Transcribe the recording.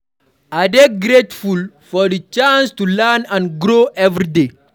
I dey grateful for di chance to learn and grow every day.